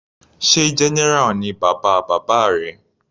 Sé general ni bàbá bàbá rẹ.